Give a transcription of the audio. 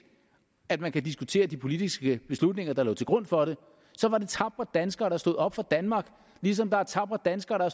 at man kan diskutere de politiske beslutninger der lå til grund for det var det tapre danskere der stod op for danmark lige som der er tapre danskere der